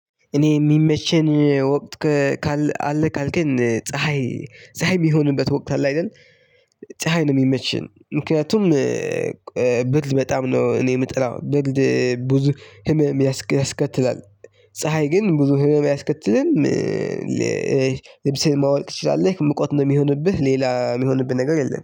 እኔ የሚመቸኝ ወቅት ካለ ካልከን ፀሀይ ፀሀይ የሚሆንበት ወቅት አለ አይደል ፀሀይ ነው የሚመቸኝ ምክንያቱም ብርድ በጣም ነው እኔ የምጥራው ብርድ ብዙ ህመም ያስከትላል ፀሀይ ግን ብዙ ህመም አያስከትልም። ልብሴን ማዉለቅ ይችላል ላይክ ሙቀት ነው የሚሆንብህ ሌላ የሚሆንብህ ነገር የለም።